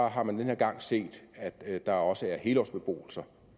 har man denne gang set at der også er helårsbeboelser